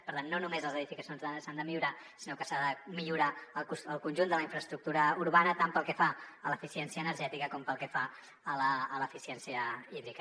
per tant no només les edificacions s’han de millorar sinó que s’ha de millorar el conjunt de la infraestructura urbana tant pel que fa a l’eficiència energètica com pel que fa a l’eficiència hídrica